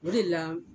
O de la